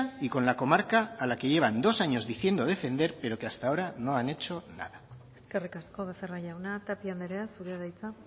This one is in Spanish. y con la comarca a la que llevan dos años diciendo defender pero que hasta ahora no han hecho nada eskerrik asko becerra jauna tapia andrea zurea da hitza